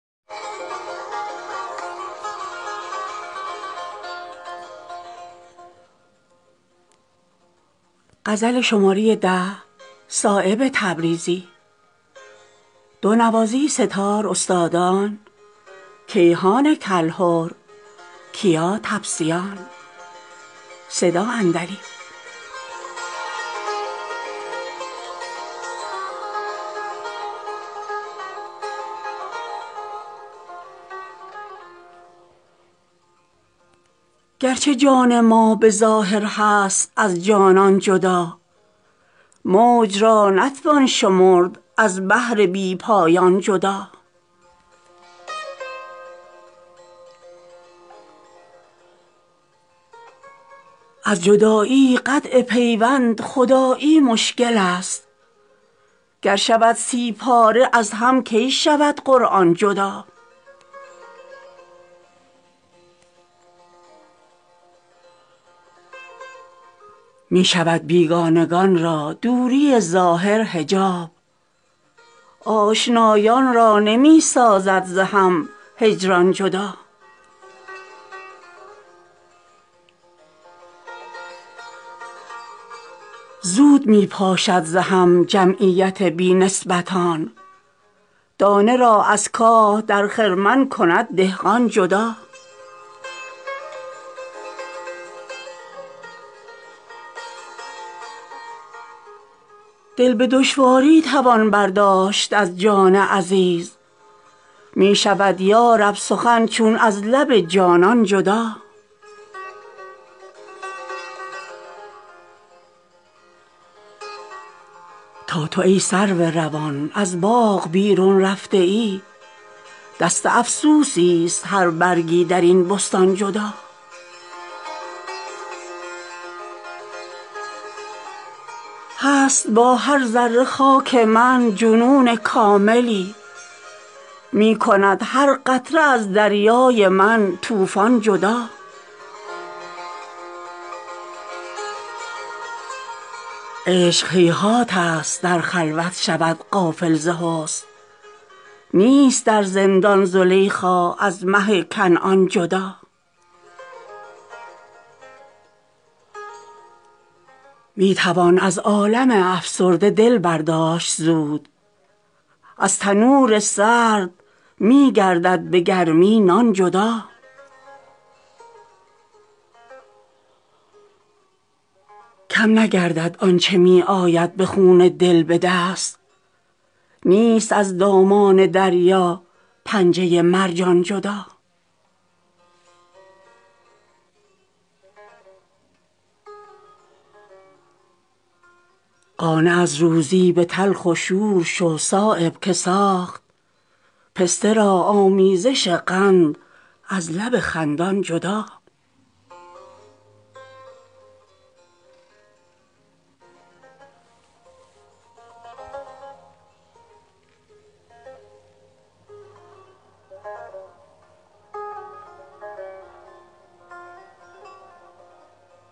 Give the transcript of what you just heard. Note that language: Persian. گرچه جان ما به ظاهر هست از جانان جدا موج را نتوان شمرد از بحر بی پایان جدا از جدایی قطع پیوند خدایی مشکل است گر شود سی پاره از هم کی شود قرآن جدا می شود بیگانگان را دوری ظاهر حجاب آشنایان را نمی سازد ز هم هجران جدا زود می پاشد ز هم جمعیت بی نسبتان دانه را از کاه در خرمن کند دهقان جدا دل به دشواری توان برداشت از جان عزیز می شود یا رب سخن چون از لب جانان جدا تا تو ای سرو روان از باغ بیرون رفته ای دست افسوسی ست هر برگی در این بستان جدا هست با هر ذره خاک من جنون کاملی می کند هر قطره از دریای من طوفان جدا عشق هیهات است در خلوت شود غافل ز حسن نیست در زندان زلیخا از مه کنعان جدا می توان از عالم افسرده دل برداشت زود از تنور سرد می گردد به گرمی نان جدا کم نگردد آنچه می آید به خون دل به دست نیست از دامان دریا پنجه مرجان جدا قانع از روزی به تلخ و شور شو صایب که ساخت پسته را آمیزش قند از لب خندان جدا